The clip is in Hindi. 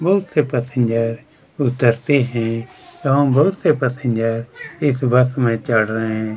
बहुत से पैसेंजर उतरते हैं यहां बहुत से पैसेंजर इस बस में चढ़ रहे हैं।